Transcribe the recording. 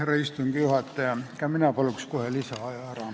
Härra istungi juhataja, ka mina küsiks kohe lisaaja ära.